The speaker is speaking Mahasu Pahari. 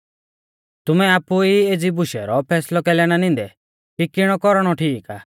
तुमै आपु ऊ एज़ी बुशु रौ फैसलौ कैलै ना निंदै कि किणौ कौरणौ ठीक आ